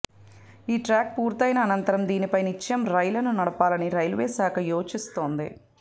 ఈ ట్రాక్ పూర్తయిన అనంతరం దీనిపై నిత్యం రైళ్లను నడపాలని రైల్వేశాఖ యోచిస్తోంది